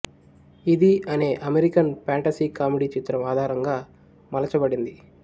ఇది అనే American fantasy comedy చిత్రం ఆధారంగా మలచబడింది